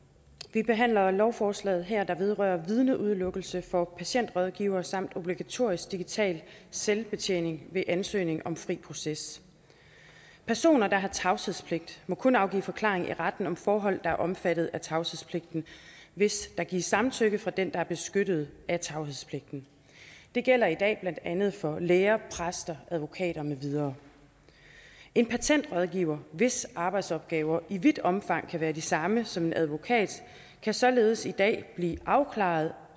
vi behandler lovforslaget her der vedrører vidneudelukkelse for patentrådgivere samt obligatorisk digital selvbetjening ved ansøgning om fri proces personer der har tavshedspligt må kun afgive forklaring i retten om forhold der er omfattet af tavshedspligten hvis der gives samtykke fra den der er beskyttet af tavshedspligten det gælder i dag blandt andet for læger præster advokater med videre en patentrådgiver hvis arbejdsopgaver i vidt omfang kan være de samme som en advokats kan således i dag blive afkrævet